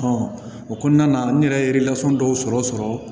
o kɔnɔna na n yɛrɛ ye dɔw sɔrɔ